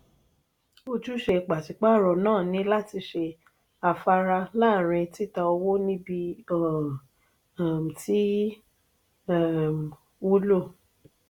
ójúsẹ pàṣipàaro náà ni láti ṣe afárá láàrin títà owó níbi o um ti um wúlò.